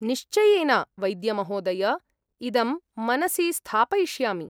निश्चयेन, वैद्यमहोदय! इदं मनसि स्थापयिष्यामि।